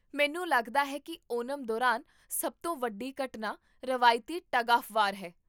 ਮੈਨੂੰ ਲੱਗਦਾ ਹੈ ਕੀ ਓਨਮ ਦੌਰਾਨ ਸਭ ਤੋਂ ਵੱਡੀ ਘਟਨਾ ਰਵਾਇਤੀ ਟੱਗ ਆਫ਼਼ ਵਾਰ ਹੈ